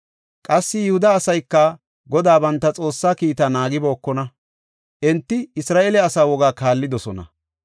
Qassi Yihuda asayka, Godaa banta Xoossaa kiita naagibookona; enti Isra7eele asaa wogaa kaallidosona.